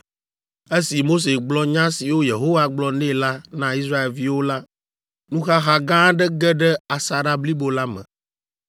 Esi Mose gblɔ nya siwo Yehowa gblɔ nɛ la na Israelviwo la, nuxaxa gã aɖe ge ɖe asaɖa blibo la me.